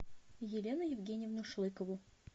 елену евгеньевну шлыкову